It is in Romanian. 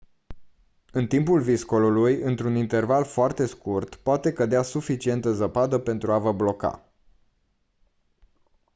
în timpul viscolului într-un interval foarte scurt poate cădea suficientă zăpadă pentru a vă bloca